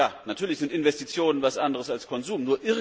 Ja, natürlich sind Investitionen etwas anderes als Konsum.